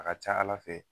A ka ca ala fɛ